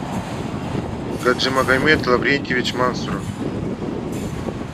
гаджимагомед лаврентьевич мансуров